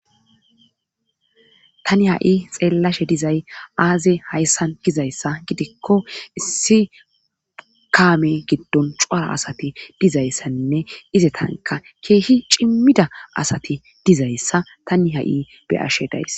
tani ha7i xeellashe dizay aaze hayssan dizayssa gidikko issi kaame giddon cuara asati dizayssanne ize tanka keehi cimmida asati dizayssa tani ha7i beyashe days